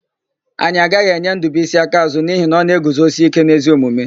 Anyị agaghị enye Ndụbuisi akaàzụ́ n'ihi na ọ na-eguzosike n'ezi omume.